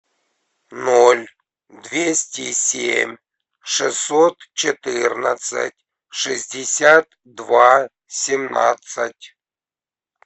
ноль двести семь шестьсот четырнадцать шестьдесят два семнадцать